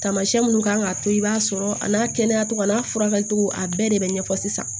Tamasiyɛn minnu kan k'a to i b'a sɔrɔ a n'a kɛnɛya cogo a n'a furakɛli cogo a bɛɛ de be ɲɛfɔ sisan